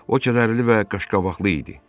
O kədərli və qaşqabaqlı idi.